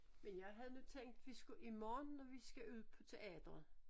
Men jeg havde nu tænkt vi skulle i morgen når vi skal ud på teateret